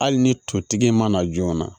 Hali ni totigi mana joona